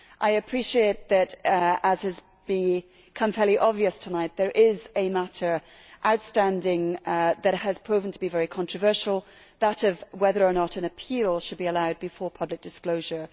I appreciate that, as has become fairly obvious tonight, there is a matter outstanding that has proven to be very controversial that of whether or not an appeal should be allowed before public disclosure.